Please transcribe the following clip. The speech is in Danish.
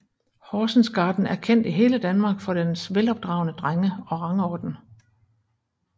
Horsens Garden er kendt i hele Danmark for dens velopdragne drenge og rangorden